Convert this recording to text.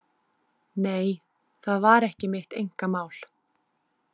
Nei, það var ekki mitt einkamál.